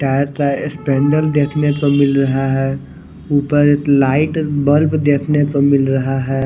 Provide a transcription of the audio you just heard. Tyre का देखने को मिल रहा है उपर एक लाइट बल्ब देखने को मिल रहा है।